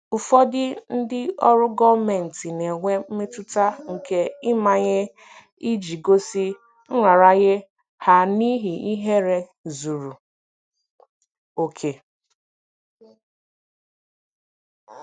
Ụfọdụ ndị ọrụ gọọmentị na-enwe mmetụta nke ịmanye iji gosi nraranye ha n'ihi ihere zuru oke.